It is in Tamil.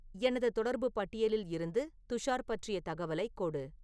எனது தொடர்பு பட்டியலில் இருந்து துஷார் பற்றிய தகவலைக் கொடு